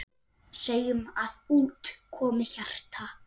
Segjum að út komi hjarta.